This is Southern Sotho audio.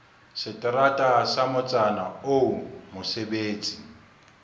seterata sa motsana oo mosebetsi